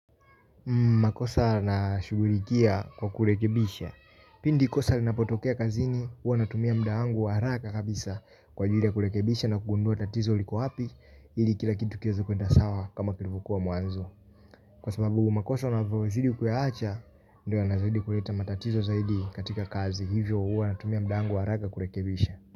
Makosa nashugurikia kwa kulekebisha. Pindi kosa linapotokea kazini uwa natumia mudaangu wa haraka kabisa kwa jili ya kulekebisha na kugundua tatizo liku hapi ili kila kitu kia za kuenda sawa kama kilifukua mwanzo. Kwa sababu makosa na vyozidi kwea acha ndio anazaidi kuleta matatizo zaidi katika kazi hivyo uwa natumia mdaangu wa haraka kulekebisha.